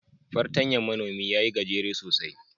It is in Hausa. Fartan Manomi ya yi gajere sosai